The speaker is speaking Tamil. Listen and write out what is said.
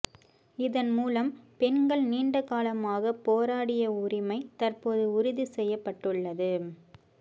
இதன் மூலம் பெண்கள் நீண்டகாலமாக போராடிய உரிமை தற்போது உறுதி செய்யப்பட்டுள்ளது